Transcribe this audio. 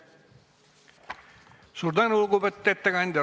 Suur tänu, lugupeetud ettekandja!